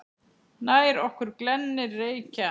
Nær okkur glennir Reykja